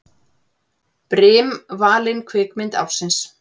Brim valin kvikmynd ársins